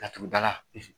Laturu dala